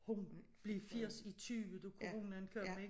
Hun blev 80 i 20 da Coronaen kom ik